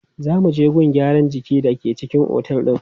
Za mu je gun gyaran jiki da ke cikin otel din.